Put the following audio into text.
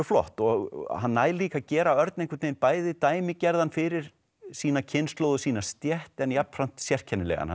flott og hann nær líka að gera Örn einhvern veginn bæði dæmigerðan fyrir sína kynslóð og sína stétt en jafnframt sérkennilegan